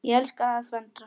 Ég elska að föndra.